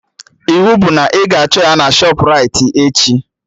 Iwu bụ na ị ga-achọ ya na Shọpraịti echi!